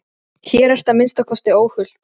Hér ertu að minnsta kosti óhult.